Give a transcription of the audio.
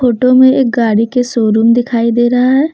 Photo में गाड़ी का शोरूम दिखाई दे रहा है।